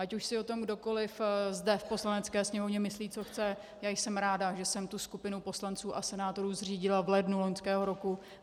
Ať už si o tom kdokoli zde v Poslanecké sněmovně myslí, co chce, já jsem ráda, že jsem tu skupinu poslanců a senátorů zřídila v lednu loňského roku.